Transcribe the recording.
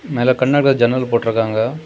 மேல கண்ணாடில ஜன்னல் போட்டு இருக்காங்க.